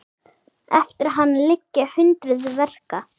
Eftir hann liggja hundruð verka.